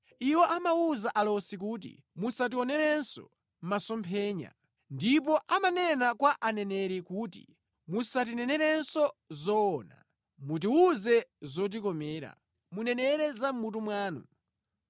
Iwo amawuza alosi kuti, ‘Musationerenso masomphenya!’ Ndipo amanena kwa mneneri kuti, ‘Musatinenerenso zoona,’ mutiwuze zotikomera, munenere za mʼmutu mwanu.